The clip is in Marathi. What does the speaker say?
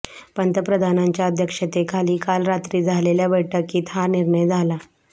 पंतप्रधानांच्या अध्यक्षतेखाली काल रात्री झालेल्या बैठकीत हा निर्णय झाला